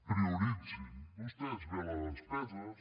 prioritzin vostès bé les despeses